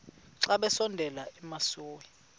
xa besondela emasuie